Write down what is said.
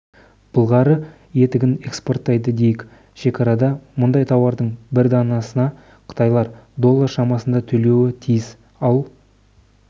былғары етігін экспорттайды дейік шекарада мұндай тауардың бір данасына қытайлар доллар шамасында төлеуі тиіс ал